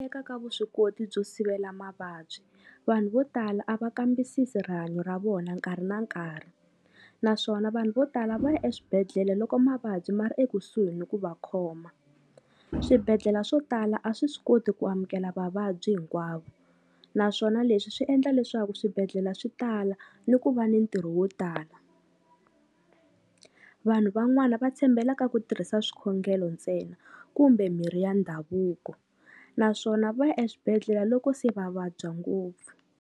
Teka ka vuswikoti byo sivela mavabyi, vanhu vo tala a va kambisisi rihanyo ra vona nkarhi na nkarhi, naswona vanhu vo tala va ya eswibedhlele loko mavabyi ma ri ekusuhi ni ku va khoma. Swibedhlela swo tala a swi swi koti ku amukela vavabyi hinkwavo, naswona leswi swi endla leswaku swibedhlela swi tala ni ku va ni ntirho wo tala. Vanhu van'wana va tshembela ka ku tirhisa swikhongelo ntsena kumbe mirhi ya ndhavuko, naswona va ya eswibedhlela loko se va vabya ngopfu.